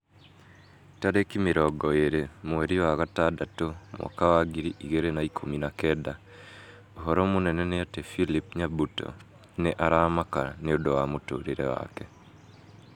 Tarĩki mĩrongo ĩrĩ mweri wa gatandatũ mwaka wa ngiri igĩrĩ na ikũmi na kenda ũhoro mũnene nĩ ati philip nyabuto nĩ aramaka nĩũndũ wa mũtũrĩre wake